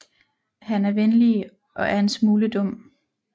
Han er venlige og er en smule dum